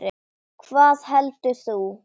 Hvað heldur þú?